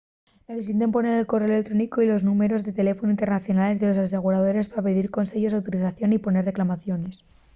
necesiten poner el corréu electrónicu y los númberos de teléfonu internacionales del asegurador pa pidir conseyos o autorización y poner reclamaciones